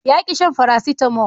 ya ƙi shan farasitamo